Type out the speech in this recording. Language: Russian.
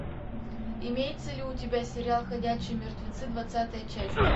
имеется ли у тебя сериал ходячие мертвецы двадцатая часть